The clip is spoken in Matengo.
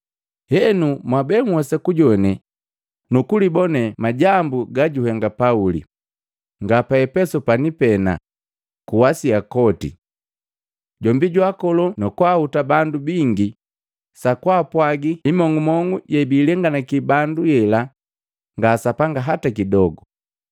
Henu mwabe nhwesa kujoane nukulibone majambu gajuhenga Pauli, nga pa Epesu pani pena, ku Asia koti. Jombi jwaakolo na nukuhuta bandu bingi sa kwaapwagi imong'omong'u yebiilenganaki bandu yela nga sapanga hata kidogo.